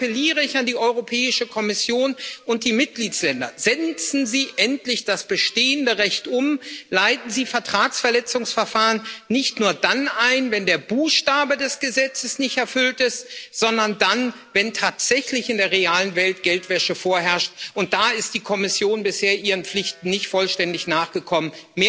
Daher appelliere ich an die Europäische Kommission und die Mitgliedstaaten Setzen Sie endlich das bestehende Recht um, leiten Sie Vertragsverletzungsverfahren nicht nur dann ein, wenn der Buchstabe des Gesetzes nicht erfüllt ist, sondern dann, wenn tatsächlich in der realen Welt Geldwäsche vorherrscht. Da ist die Kommission bisher ihren Pflichten nicht vollständig nachgekommen.